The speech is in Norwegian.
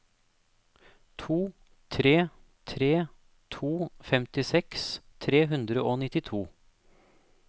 to tre tre to femtiseks tre hundre og nittito